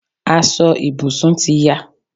Aso ìbùsùn ti ya